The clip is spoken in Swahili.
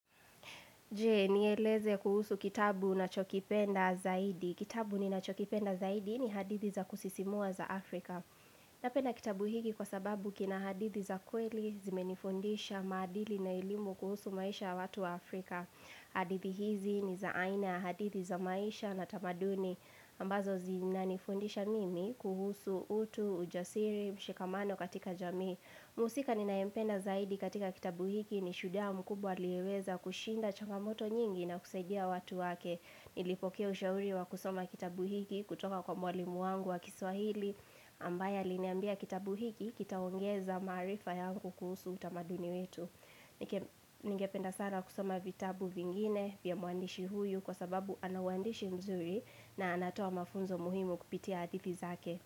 Je, nieleze kuhusu kitabu nachokipenda zaidi. Kitabu ninachokipenda zaidi ni hadithi za kusisimua za Afrika. Napenda kitabu hiki kwa sababu kina hadithi za kweli zimenifundisha madili na elimu kuhusu maisha watu wa Afrika. Hadithi hizi ni za aina ya hadithi za maisha na tamaduni ambazo zina nifundisha mimi kuhusu utu, ujasiri, mshikamano katika jamii. Mhusika ninayempenda zaidi katika kitabu hiki ni shujaa mkubwa aliyeweza kushinda changamoto nyingi na kusaidia watu wake. Nilipokea ushauri wa kusoma kitabu hiki kutoka kwa mwalimu wangu wa kiswahili ambaye aliniambia kitabu hiki kitaongeza maarifa ya kuhusu utamaduni wetu. Ningependa sana kusoma vitabu vingine vya mwandishi huyu kwa sababu ana uwandishi mzuri na anatoa mafunzo muhimu kupitia hadithi zake.